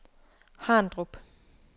Harndrup